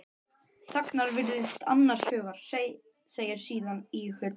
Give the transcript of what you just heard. Þagnar, virðist annars hugar, segir síðan íhugul